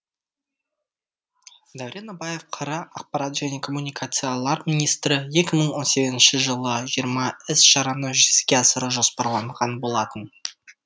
дәурен абаев қр ақпарат және коммуникациялар министрі екі мың он сегізініші жылы жиырма іс шараны жүзеге асыру жоспарланған болатын